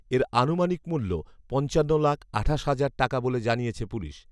এর আনুমানিক মূল্য পঞ্চান্ন লাখ আঠাশ হাজার টাকা বলে জানিয়েছে পুলিশ